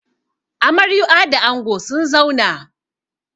Amaryua da ango sun zauna.